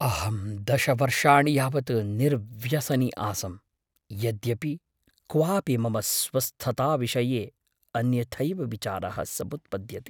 अहं दश वर्षाणि यावत् निर्व्यसनी आसम्, यद्यपि क्वापि मम स्वस्थताविषये अन्यथैव विचारः समुत्पद्यते।